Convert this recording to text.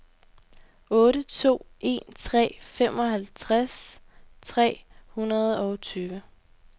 otte to en tre femoghalvtreds tre hundrede og tyve